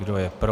Kdo je pro?